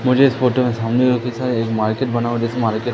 मुझे इस फोटो में सामने एक मार्केट बना हुआ जैसे मार्केट --